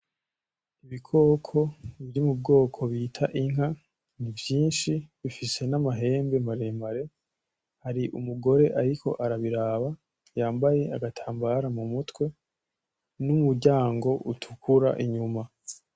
Ibikoko biri mubwoko bita inka, ni vyinshi bifise n'amahembe maremare, hari umugore ariko arabiraba yambaye agatambara mu mutwe n' umuryango utukura inyuma.